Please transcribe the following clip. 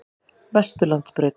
Vesturlandsbraut